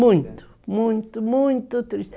Muito, muito, muito triste.